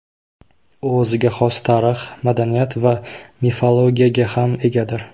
U o‘ziga xos tarix, madaniyat va mifologiyaga ham egadir.